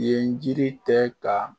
Yen jiri tɛ ka